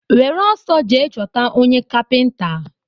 Were ọsọ jee chọta onye kapinta!